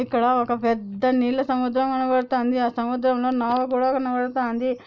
ఇక్కడ ఒక పెద్ద నీళ్ళ సముద్రం కనబడుతంది పెద్ద నావ కూడా కనబడుతంది. ]